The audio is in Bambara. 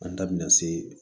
An da bina se